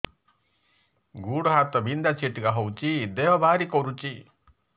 ଗୁଡ଼ ହାତ ବିନ୍ଧା ଛିଟିକା ହଉଚି ଦେହ ଭାରି କରୁଚି